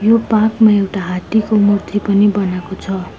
यो पार्क मा एउटा हात्तीको मूर्ति पनि बनाको छ।